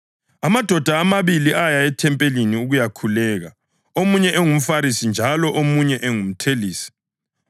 “Amadoda amabili aya ethempelini ukuyakhuleka, omunye engumFarisi njalo omunye engumthelisi.